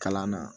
Kalan na